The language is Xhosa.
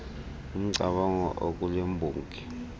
umcamango okule mbongi